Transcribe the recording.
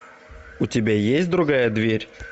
у тебя есть другая дверь